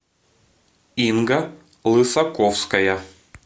инга лысаковская